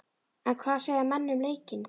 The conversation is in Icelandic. En hvað segja menn um leikinn?